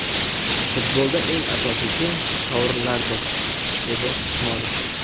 Futbolda eng asosiysi – sovrinlardir”, – dedi Usmonov.